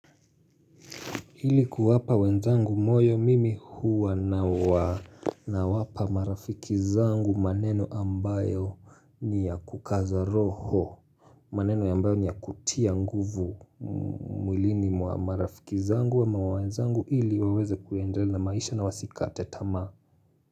Ili kuwapa wenzangu moyo mimi huwa na waa na wapa marafikizangu maneno ambayo ni ya kukaza roho maneno ambayo ni ya kutia nguvu mwilini mwa marafiki zangu ama wenzangu ili waweze kuendelea na maisha na wasikate tamaa.